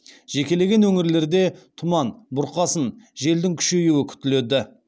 жекелеген өңірлерде тұман бұрқасын желдің күшеюі күтіледі